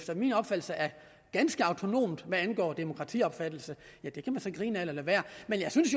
efter min opfattelse er ganske autonomt hvad angår demokratiopfattelse det kan man så grine ad eller lade være men jeg synes